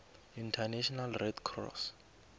international red cross